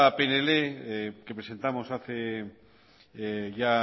pnl que presentamos hace ya